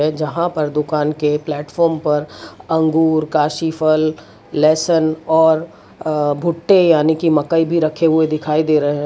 जहां पर दुकान के प्लेटफार्म पर अंगूर काशीफल लेसन और अ भुट्टे यानी कि मकई भी रखे हुए दिखाई दे रहे है।